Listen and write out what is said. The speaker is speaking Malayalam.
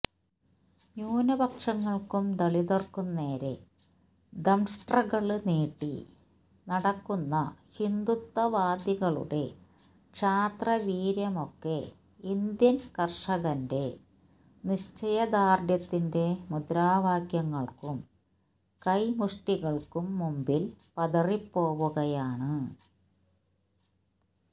ന്യൂനപക്ഷങ്ങള്ക്കും ദളിതുകള്ക്കും നേരെ ദംഷ്ട്രകള് നീട്ടി നടക്കുന്ന ഹിന്ദുത്വവാദികളുടെ ക്ഷാത്രവീര്യമൊക്കെ ഇന്ത്യന് കര്ഷകന്റെ നിശ്ചയദാര്ഢ്യത്തിന്റെ മുദ്രാവാക്യങ്ങള്ക്കും കൈമുഷ്ടികള്ക്കും മുമ്പില് പതറിപ്പോകുകയാണ്